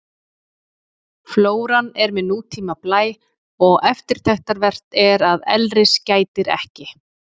Flóran er með nútíma blæ og eftirtektarvert er að elris gætir ekki.